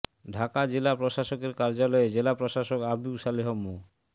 ঢাকা জেলা প্রশাসকের কার্যালয়ে জেলা প্রশাসক আবু সালেহ মো